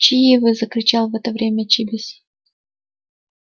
чьи вы закричал в это время чибис